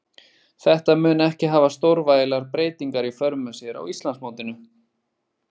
Þetta mun ekki hafa stórvægilegar breytingar í för með sér á Íslandsmótinu.